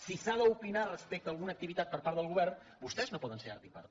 si s’ha d’opinar respecte a alguna activitat per part del govern vostès no poden ser art i part